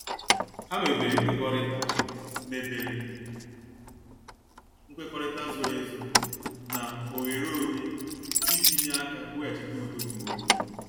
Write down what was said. Ha mebere nkwekọrịta mebere nkwekọrịta zoro ezo na oghere onye, iji nye aka weghachite udo nke obi.